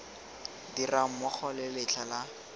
dirang mmogo le letlha la